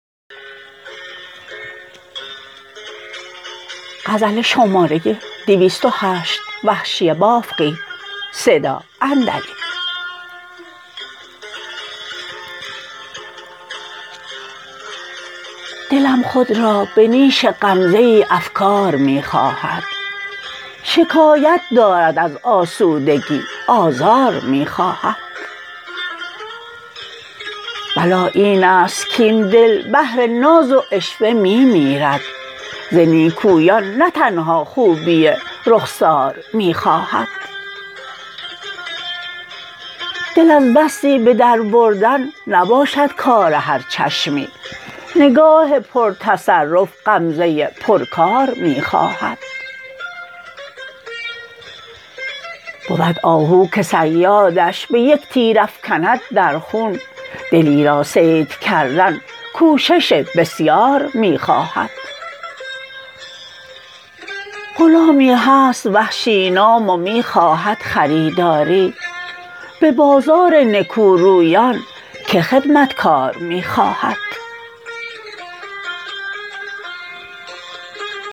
دلم خود را به نیش غمزه ای افکار می خواهد شکایت دارد از آسودگی آزار می خواهد بلا اینست کاین دل بهر ناز و عشوه می میرد ز نیکویان نه تنها خوبی رخسار می خواهد دل از دستی بدر بردن نباشد کار هر چشمی نگاه پر تصرف غمزه پر کار می خواهد بود آهو که صیادش به یک تیر افکند در خون دلی را صید کردن کوشش بسیار می خواهد غلامی هست وحشی نام و می خواهد خریداری به بازار نکو رویان که خدمتکار می خواهد